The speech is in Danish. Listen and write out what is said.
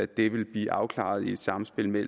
det vil blive afklaret i et samspil med